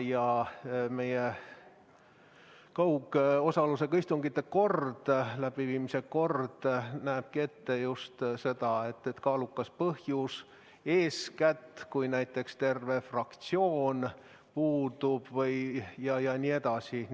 Ja meie kaugosalusega istungite läbiviimise kord näeb ette just seda, et selleks peab olema kaalukas põhjus, kui näiteks terve fraktsioon puudub jne.